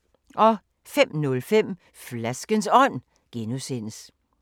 05:05: Flaskens Ånd (G)